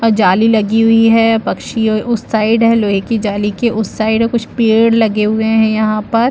जाली लगी हुई है पक्षी उस साइड है लोहे की जाली के उस साइड है कुछ पेड़ लगे हुए है यहाँ पर--